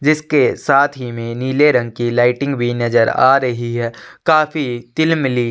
जिसके साथ ही में नीले रंग की लाइटिंग नज़र आ रही है काफी तीलमिली--